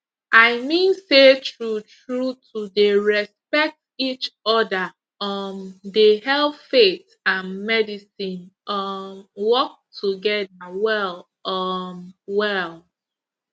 i mean say true true to dey respect each other um dey help faith and and medicine um work together well um well